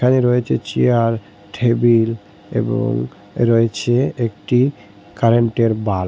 রয়েছে chair table এবং রয়েছে একটি কারেন্টের বাল্ব ।